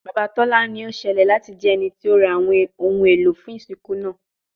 Baba Tola ni o ṣẹlẹ lati jẹ ẹniti o ra awọn ohun elo fun isinku naa